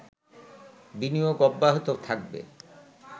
বিনিয়োগ অব্যাহত থাকবে